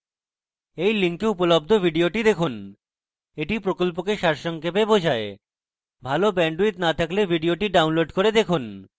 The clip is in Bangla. এই link উপলব্ধ video দেখুন এটি প্রকল্পকে সারসংক্ষেপে বোঝায় ভাল bandwidth না থাকলে video download করে দেখুন